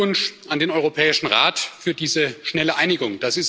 Herzlichen Glückwunsch an den Europäischen Rat für diese schnelle Einigung.